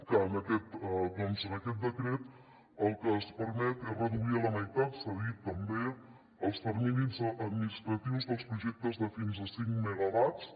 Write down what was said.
que en aquest decret el que es permet és reduir a la meitat s’ha dit també els terminis administratius dels projectes de fins a cinc megawatts